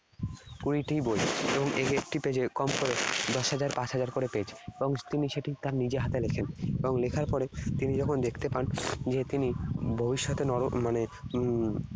কুড়িটি বই। এবং এর একটি page এর কম করে দশ হাজার পাঁচ হাজার করে page । এবং তিনি সেটি তার নিজে হাতে লেখেন এবং লেখার পরে তিনি যখন দেখতে পান যে তিনি ভবিষ্যতে মানে উম